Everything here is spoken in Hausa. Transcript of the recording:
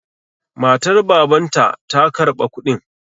Matar Babanta ta karba kuɗin.